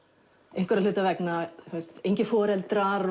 einhverra hluta vegna engir foreldrar